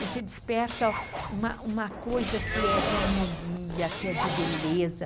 Você desperta uma coisa que é de harmonia, que é de beleza.